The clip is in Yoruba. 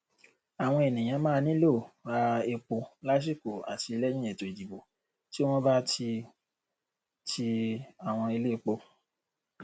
àwọn ènìyàn máa nílò ra epo lásìkò àti lẹyìn ètòìdìbò tí wọn bá ti ti àwọn iléepo